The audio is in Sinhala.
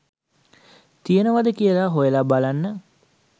තියෙනවද කියලා හොයලා බලන්න